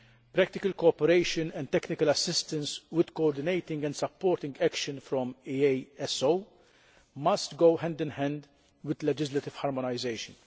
practical cooperation and technical assistance, with coordinating and supporting action from EASO, which must go hand in hand with legislative harmonisation